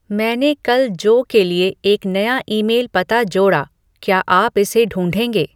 मैंने कल जो के लिए एक नया ईमेल पता जोड़ा क्या आप इसे ढूँढेंगे